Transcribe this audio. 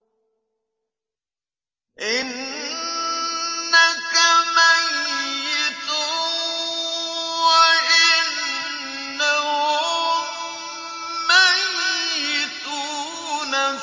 إِنَّكَ مَيِّتٌ وَإِنَّهُم مَّيِّتُونَ